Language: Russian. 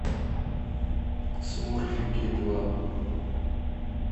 смурфики два